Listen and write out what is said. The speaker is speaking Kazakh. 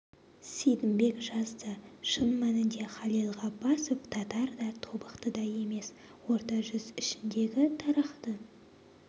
сейдімбек жазды шын мәнінде халел ғаббасов татар да тобықты да емес орта жүз ішіндегі тарақты